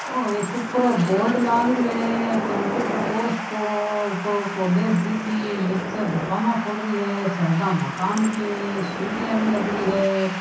ओ ऊपर एक बोर्ड लग रहा है कंप्यूटर कोर्स को ऊपर कोलेज दिख रहा है निचे दुकान खुल रही है साइड मकान भी है सीडिया भी लग रही है।